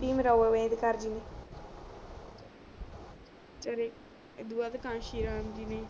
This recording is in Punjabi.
ਭੀਮ ਰਾਵ ਅੰਬੇਡਕਰ ਜੀ ਨੇ ਫੇਰ ਏਦੋਂ ਬਾਦ ਕਾਂਸੀ ਰਾਮ ਜੀ ਨੇ